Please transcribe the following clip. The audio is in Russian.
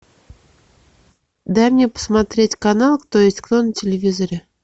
дай мне посмотреть канал кто есть кто на телевизоре